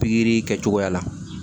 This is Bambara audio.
Pikiri kɛcogoya la